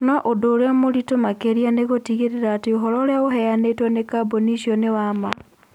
No ũndũ ũrĩa mũritũ makĩria nĩ gũtigĩrĩra atĩ ũhoro ũrĩa ũheanĩtwo nĩ kambuni icio nĩ wa ma.